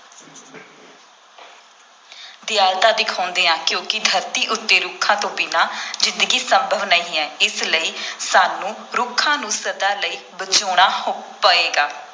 ਦਿਆਲਤਾ ਦਿਖਾਉਂਦੇ ਹਾਂ ਕਿਉਂਕਿ ਧਰਤੀ ਉੱਤੇ ਰੁੱਖਾਂ ਤੋਂ ਬਿਨਾਂ ਜ਼ਿੰਦਗੀ ਸੰਭਵ ਨਹੀਂ ਹੈ, ਇਸ ਲਈ ਸਾਨੂੰ ਰੁੱਖਾਂ ਨੂੰ ਸਦਾ ਲਈ ਬਚਾਉਣਾ ਪਏਗਾ।